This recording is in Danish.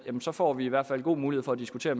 så får vi i hvert fald en god mulighed for at diskutere